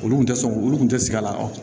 Olu kun tɛ sɔn olu kun tɛ sigi a la